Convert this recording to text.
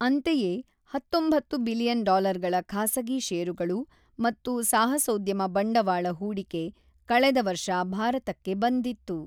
ಅಂತೆಯೇ, ಹತೊಂಬತ್ತು ಬಿಲಿಯನ್ ಡಾಲರ್ಗಳ ಖಾಸಗಿ ಷೇರುಗಳು ಮತ್ತು ಸಾಹಸೋದ್ಯಮ ಬಂಡವಾಳ ಹೂಡಿಕೆ ಕಳೆದ ವರ್ಷ ಭಾರತಕ್ಕೆ ಬಂದಿತ್ತು.